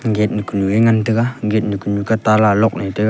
gate nu kunu e ngan taiga gate nu kunu ka tala lock ley taga.